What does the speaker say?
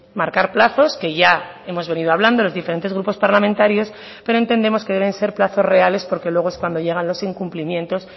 marcar plazos que ya hemos venido hablando los diferentes grupos parlamentarios pero entendemos que deben ser plazos reales porque luego es cuando llegan los incumplimientos